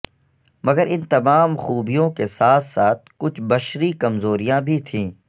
مگر ان تمام خوبیوں کے ساتھ ساتھ کچھ بشری کمزوریاں بھی تھیں